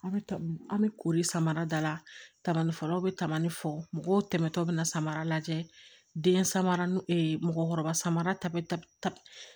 An bɛ an bɛ kori samara dala kamanifaraw bɛ tamali fɔ mɔgɔw tɛmɛtɔ bɛ na samara lajɛ den samara mɔgɔkɔrɔba samara ta bɛ ta